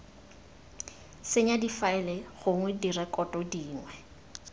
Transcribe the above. senya difaele gongwe direkoto dingwe